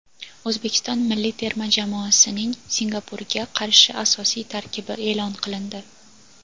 O‘zbekiston milliy terma jamoasining Singapurga qarshi asosiy tarkibi e’lon qilindi:.